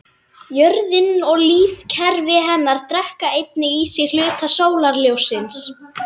Jörðin og lífkerfi hennar drekka einnig í sig hluta sólarljóssins.